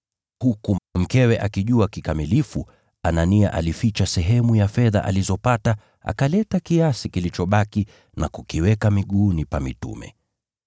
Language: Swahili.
Huku mkewe akijua kikamilifu, Anania alificha sehemu ya fedha alizopata, akaleta kiasi kilichobaki na kukiweka miguuni pa mitume.